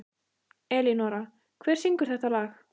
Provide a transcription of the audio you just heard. Elínora, hver syngur þetta lag?